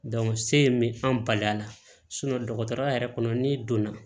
se bɛ an bala dɔgɔtɔrɔya yɛrɛ kɔnɔ n'i donna